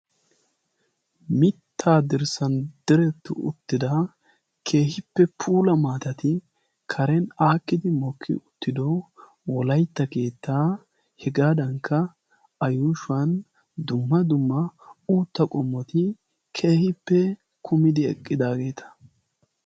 Mittaa dirssan diretti uttida keehippe puula maatati karen aakkidi mokki uttido wolaitta keettaa. Hegaadankka a yuushuwan dumma dumma uutta qommoti keehippe kumidi eqqidaageeta.